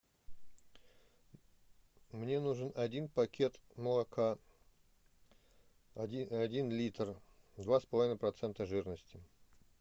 мне нужен один пакет молока один литр два с половиной процента жирности